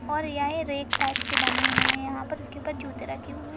और यह rack type के बने हुए है यहाँ पर इसके ऊपर जूते रखे हुए --